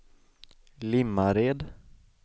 Limmared